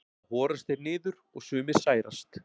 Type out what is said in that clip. Þá horast þeir niður og sumir særast.